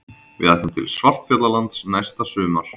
Við ætlum til Svartfjallalands næsta sumar.